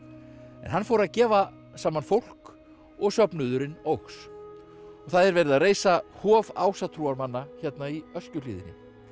hann fór að gefa saman fólk og söfnuðurinn óx og það er verið að reisa hof ásatrúarmanna í Öskjuhlíðinni